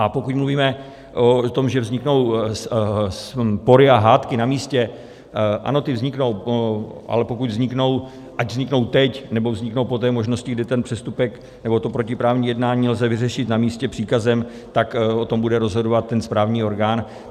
A pokud mluvíme o tom, že vzniknou spory a hádky na místě, ano, ty vzniknou, ale pokud vzniknou, ať vzniknou teď, nebo vzniknou po té možnosti, kdy ten přestupek nebo to protiprávní jednání lze vyřešit na místě příkazem, tak o tom bude rozhodovat ten správní orgán.